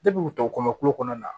u tɔ kɔmi kulo kɔnɔna na